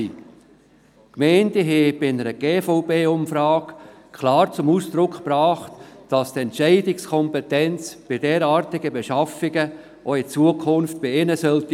Die Gemeinden haben bei einer GVB-Umfrage klar zum Ausdruck gebracht, dass die Entscheidungskompetenz für derartige Beschaffungen auch in Zukunft bei ihnen bleiben sollte.